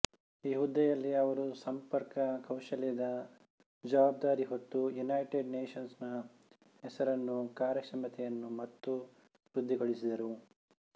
ಈ ಹುದ್ದೆಯಲ್ಲಿ ಅವರು ಸಂಪರ್ಕ ಕೌಶಲ್ಯದ ಜವಾಬ್ದಾರಿ ಹೊತ್ತು ಯುನೈಟೆಡ್ ನೇಷನ್ಸ್ ನ ಹೆಸರನ್ನೂ ಕಾರ್ಯಕ್ಷಮತೆಯನ್ನೂ ಮತ್ತೂ ವೃದ್ಧಿಗೊಳಿಸಿದರು